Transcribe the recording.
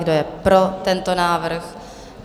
Kdo je pro tento návrh?